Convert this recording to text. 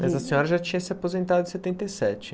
Mas a senhora já tinha se aposentado em setenta e sete